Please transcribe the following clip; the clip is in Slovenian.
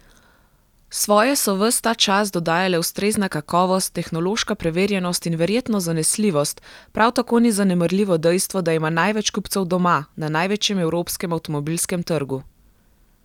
Svoje so ves ta čas dodajale ustrezna kakovost, tehnološka preverjenost in verjetno zanesljivost, prav tako ni zanemarljivo dejstvo, da ima največ kupcev doma, na največjem evropskem avtomobilskem trgu.